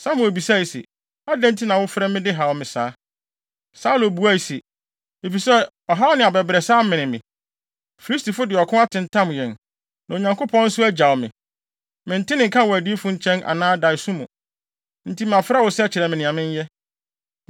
Samuel bisae se, “Adɛn nti na wofrɛ me de haw me saa?” Saulo buae se, “Efisɛ ɔhaw ne abɛbrɛsɛ amene me. Filistifo de ɔko atentam yɛn. Na Onyankopɔn nso agyaw me. Mente ne nka wɔ adiyifo nkyɛn anaa daeso mu. Enti mafrɛ wo sɛ kyerɛ me nea menyɛ.”